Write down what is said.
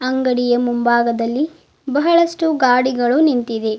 ಅಂಗಡಿಯ ಮುಂಭಾಗದಲ್ಲಿ ಬಹಳಷ್ಟು ಗಾಡಿಗಳು ನಿಂತಿದೆ.